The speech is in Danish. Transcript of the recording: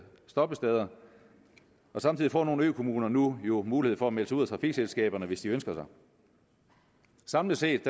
stoppesteder og samtidig får nogle økommuner jo nu mulighed for at melde sig ud af trafikselskaberne hvis de ønsker det samlet set